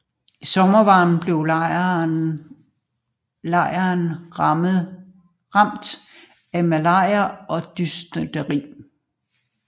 I sommervarmen blev lejren rammet af malaria og dysenteri